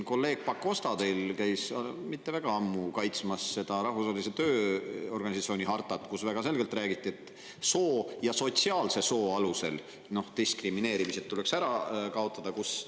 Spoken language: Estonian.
Kolleeg Pakosta käis siin mitte väga ammu kaitsmas Rahvusvahelise Tööorganisatsiooni hartat, kus väga selgelt räägiti, et soo ja sotsiaalse soo alusel diskrimineerimine tuleks.